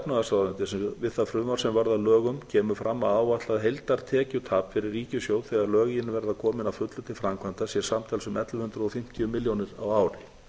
efnahagsráðuneytis um það frumvarp sem varð að lögunum kemur fram að áætlað heildartekjutap fyrir ríkissjóð þegar lögin verða komin að fullu til framkvæmda sé samtals um ellefu hundruð og fimmtíu milljónir króna á ári